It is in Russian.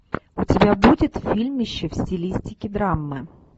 у тебя будет фильмище в стилистике драмы